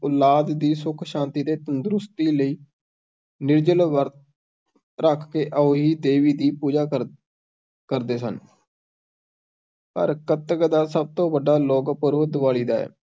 ਔਲਾਦ ਦੀ ਸੁੱਖ-ਸ਼ਾਂਤੀ ਅਤੇ ਤੰਦਰੁਸਤੀ ਲਈ ਨਿਰਜਲ ਵਰਤ ਰਖ ਕੇ ਅਹੋਈ ਦੇਵੀ ਦੀ ਪੂਜਾ ਕਰ ਕਰਦੇ ਸਨ ਪਰ ਕੱਤਕ ਦਾ ਸਭ ਤੋਂ ਵੱਡਾ ਲੋਕ-ਪੂਰਬ ਦਿਵਾਲੀ ਦਾ ਹੈ,